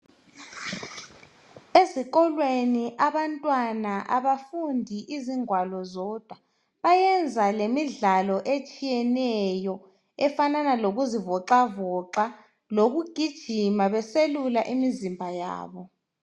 Ezikolweni abantwana abafundi izingwalo zodwa bayenza lemidlalo etshiyeneyo efanana lokuzivoxavoxa lokugijima beselula imizimba yabo.